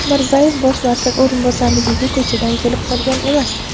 Mirzayev bosh vazir o‘rinbosarligiga ko‘chadan kelib qolgan emas.